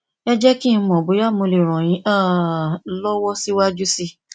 ẹ jé kí n mọ bóyá mo lè ràn yín um lọwọ síwájú sí i i